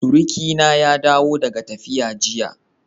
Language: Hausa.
Surukina ya dawo daga tafiya jiya.